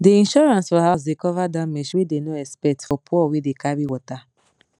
de insurance for house dey cover damage wey dey no expect for poor wey dey carry water